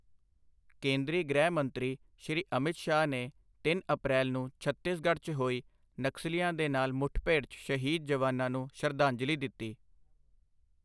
ਕੇਂਦਰੀ ਗ੍ਰਿਹ ਮੰਤਰੀ ਸ਼੍ਰੀ ਅਮਿਤ ਸ਼ਾਹ ਨੇ ਤਿੰਨ ਅਪ੍ਰੈਲ ਨੂੰ ਛੱਤੀਸਗੜ 'ਚ ਹੋਈ ਨਕਸਲੀਆਂ ਦੇ ਨਾਲ ਮੁੱਠਭੇੜ 'ਚ ਸ਼ਹੀਦ ਜਵਾਨਾਂ ਨੂੰ ਸ਼ਰਧਾਂਜਲੀ ਦਿੱਤੀ